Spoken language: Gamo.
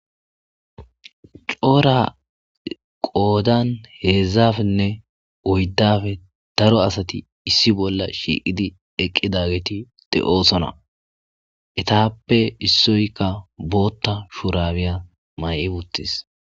coora qoodan heedzdzapenne oyddape daro asati issi bolla shiiqidi eqqidageti de7osona etappe issoykka bootta shuurabiya may'i uttis.